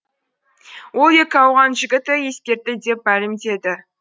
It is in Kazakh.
ол екі ауған жігіті ескертті деп мәлімдеді